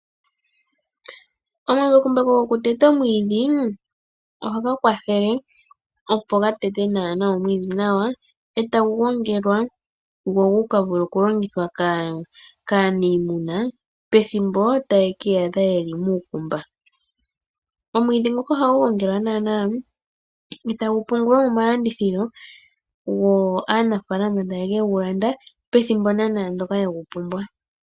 Omambakumbaku gokuteta omiidhi ohaga kwathele okuteta omwiidhi nawa, e tagu gongelwa gu ka vule okulongithwa kaaniima pethimbo lyuulumbu. Omwiidhi ngoka ohagu gongelwa nawa e tagu pungulwa momalandithilo yo aanafaalama taye ke gu landa pethimbo ndyoka ye gu pumbwa.